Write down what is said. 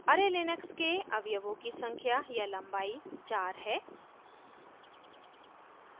array Linux के अवयवों की संख्या या लम्बाई 4 है